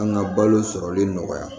An ka balo sɔrɔli nɔgɔya